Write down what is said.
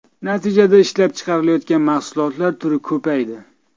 Natijada ishlab chiqarilayotgan mahsulotlar turi ko‘paydi.